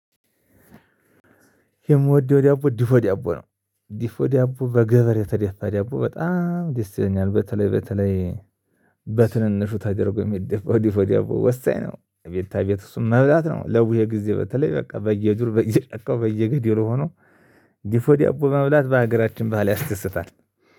የምወደው ዳቦ ድፎ ዳቦ ነው ድፎ ዳቦ በገበር የተደፋ ዳቦ በጣም ደስ ይለኛል በተለይ በተለይ በትንንሹ ተደርጎ ሚደፋው ድፎ ዳቦ ወሳኝ ነው። አቤታ አቤት እሱን መብላት ነው ለቡሄ ጊዜ በተለይ በቃ በየዱር በየጨካው በየገደሉ ሆኖ ድፎ ዳቦ መብላት በሀገራችን ባህል ያስደስታል